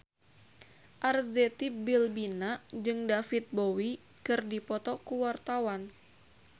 Arzetti Bilbina jeung David Bowie keur dipoto ku wartawan